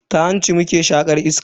Ta hanci muke shaƙar iska.